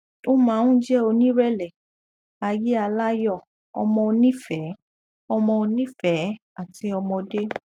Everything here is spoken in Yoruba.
ó máa ń jẹ onírẹlẹ ayé aláyọ ọmọ onífẹẹ ọmọ onífẹẹ àti ọmọdé